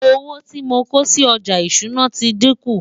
owó tí mọ kòsí ọja ìṣúná tí dinkun